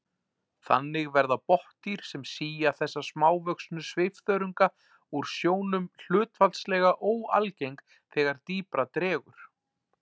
Þannig verða botndýr sem sía þessa smávöxnu svifþörunga úr sjónum hlutfallslega óalgeng þegar dýpra dregur.